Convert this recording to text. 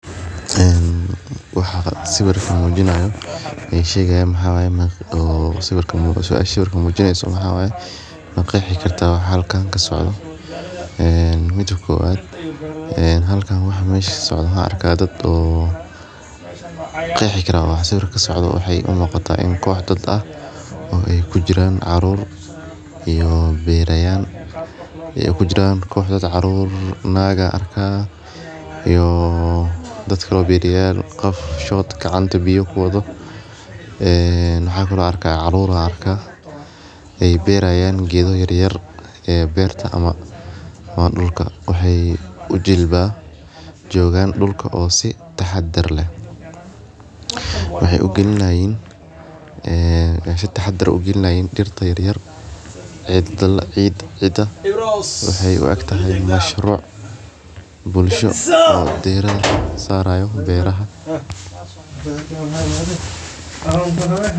Een Waxaa sawirka muujiinaayo ee shegayo ma haway ma oo si sawirka muujineyso ma xaway ma qeexi kartaa waxa halkan ka socda mid kooad. Halkaan waxa mayska socodana arka dad oo qeexeeyaa in si baraka socda. Waxay u muuqata in kooxdood ah oo ay ku jiraan caruur iyo beerayaan iyo ku jiraan kooxda dad caruur naagaa arka iyo dadka loo biiriyaan qof shood gacanta biyo ku wado ee naxaa kuna arka caruura arka ay beerayaan geedo yaryar ee beerta ama ma dhulka. Waxay u jilbaa joogaan dhulka oo si taxadar leh. Waxay u gelnaayeen in ay si taxadar u gelnaayn dhirteh yaryar, cidda la ciid. Cidda waxay u aagta hay in mashruuc bulsho oo dheeraad saarayo beeraha.